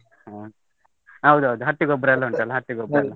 ಹ, ಹೌದೌದು ಹಟ್ಟಿ ಗೊಬ್ಬರ ಎಲ್ಲ ಉಂಟಲ್ಲ ಹಟ್ಟಿ ಗೊಬ್ಬರ.